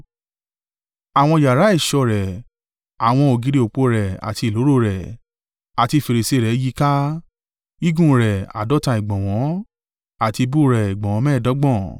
Àwọn yàrá ẹ̀ṣọ́ rẹ̀ àwọn ògiri òpó rẹ̀ àti ìloro rẹ̀, àti fèrèsé rẹ̀ yíká: gígùn rẹ̀ àádọ́ta ìgbọ̀nwọ́, àti ìbú rẹ̀ ìgbọ̀nwọ́ mẹ́ẹ̀ẹ́dọ́gbọ̀n.